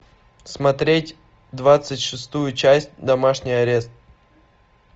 смотреть двадцать шестую часть домашний арест